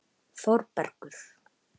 Þórbergur